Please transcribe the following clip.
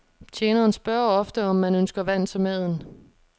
Tjeneren spørger ofte, om man ønsker vand til maden.